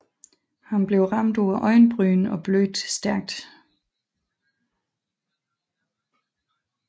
Han blev ramt på øjenbrynet og blødte stærkt